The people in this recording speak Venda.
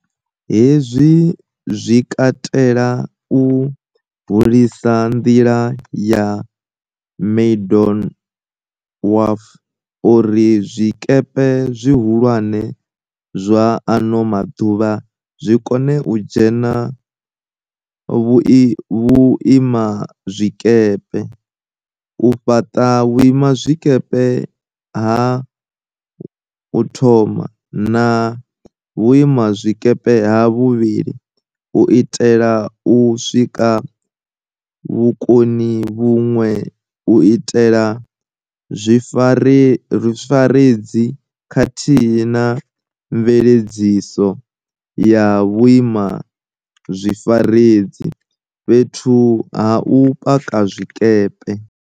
Hezwi zwi katela u hulisa nḓila ya Maydon Wharf uri zwikepe zwihulwane zwa ano maḓuvha zwi kone u dzhena vhuima zwikepe, u fhaṱa Vhuima zwikepe ha 1 na Vhuima zwikepe ha 2 u itela u sika vhukoni vhuṅwe u itela zwifaredzi khathihi na mveledziso ya vhuima zwifaredzi fhethu ha u paka zwikepe.